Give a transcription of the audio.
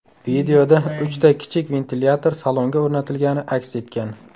Videoda uchta kichik ventilyator salonga o‘rnatilgani aks etgan.